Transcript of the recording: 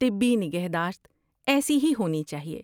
طبی نگہداشت ایسی ہی ہونی چاہیے۔